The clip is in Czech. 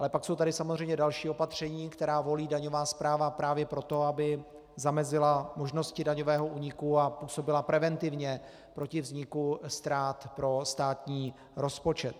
Ale pak jsou tady samozřejmě další opatření, která volí daňová správa právě proto, aby zamezila možnosti daňového úniku a působila preventivně proti vzniku ztrát pro státní rozpočet.